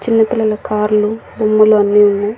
చిన్న పిల్లల కార్ లు బొమ్మలు అన్ని ఉన్నాయి.